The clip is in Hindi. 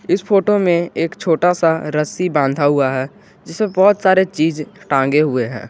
इस फोटो में एक छोटा सा रस्सी बांधा हुआ है जिसमे बहोत सारे चीज टांगे हुए हैं।